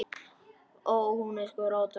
Ó. Hún er sko róttæk.